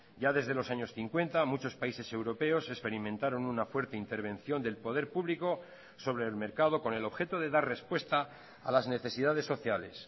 ya desde los años cincuenta muchos países europeos experimentaron una fuerte intervención del poder público sobre el mercado con el objeto de dar respuesta a las necesidades sociales